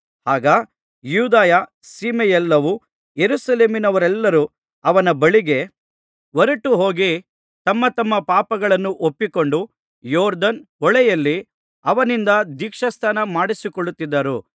ಆಗ ಯೂದಾಯ ಸೀಮೆಯೆಲ್ಲವೂ ಯೆರೂಸಲೇಮಿನವರೆಲ್ಲರೂ ಅವನ ಬಳಿಗೆ ಹೊರಟುಹೋಗಿ ತಮ್ಮ ತಮ್ಮ ಪಾಪಗಳನ್ನು ಒಪ್ಪಿಕೊಂಡು ಯೊರ್ದನ್ ಹೊಳೆಯಲ್ಲಿ ಅವನಿಂದ ದೀಕ್ಷಾಸ್ನಾನಮಾಡಿಸಿಕೊಳ್ಳುತ್ತಿದ್ದರು